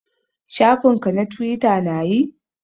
Shafin ka na twita na yi?